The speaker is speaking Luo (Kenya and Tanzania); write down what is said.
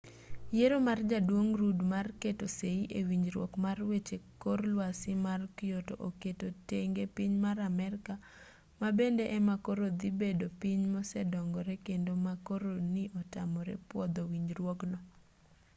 yiero mar jaduong' rudd mar keto sei e winjruok mar weche kor lwasi mar kyoto oketo tenge piny mar amerka ma bende ema koro dhi bedo piny mosedongore kende ma koro ni otamore pwodho winjruogno